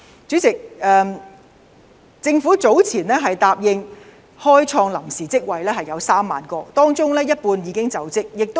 主席，第一，政府早前答應會開創3萬個臨時職位，當中有一半已經開設。